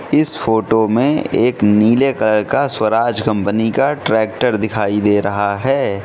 इस फोटो में एक नीले कलर का स्वराज कंपनी का ट्रैक्टर दिखाई दे रहा है।